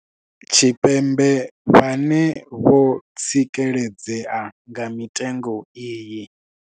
Tshipembe vhane vho tsikeledzea nga mitengo iyi.